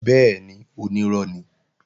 Bẹ́ẹ̀ni, onírọ́ ni